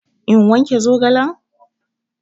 In wanke zogalen?